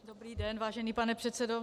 Dobrý den, vážený pane předsedo.